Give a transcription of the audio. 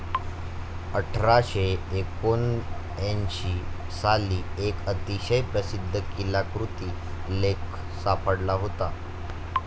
अठराशे एकोणऐंशी साली, एक अतिशय प्रसिद्ध कीलाकृती लेख सापडला होता.